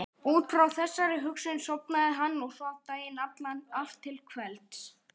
Út frá þessari hugsun sofnaði hann og svaf daginn allan og allt til kvelds.